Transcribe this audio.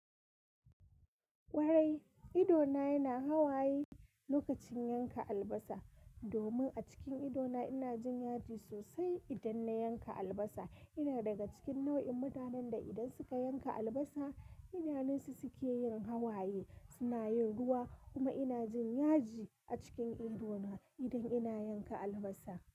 Kwarai, idona yana hawaye lokacin yanka albasa. Domin a cikin idona ina jin yaji sosai idan na yanka albasa. Ina daga cikin nau'in mutanen da idan suka yanka albasa, idanunsu suke yin hawaye, suna yin ruwa kuma ina jin yaji a cikin idona idan ina yanka albasa.